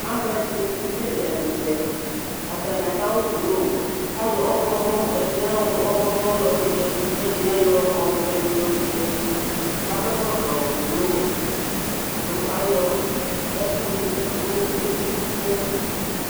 l kannAlʋ ɛdini kekele ɛkʋtɛ Atani adʋ awʋ blʋ, k'ayɔ ɔɣlɔmɔ , ɛdini ayɔ ɔɣlɔmɔ yɔ dʋ yǝdʋ k'ɛɖiniayɔ ɔvɛ ni yɔ dʋ yǝdʋ, k'akɔ ɛkɔtɔ blʋ kʋ ayɔ ɛkʋ lʋ eti dʋ n'ayili